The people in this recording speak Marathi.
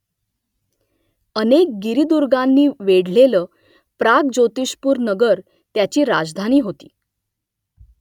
अनेक गिरिदुर्गांनी वेढलेलं प्राग्ज्योतिषपूर नगर त्याची राजधानी होती